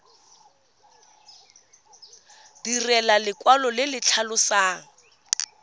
direlwa lekwalo le le tlhalosang